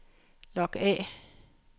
log af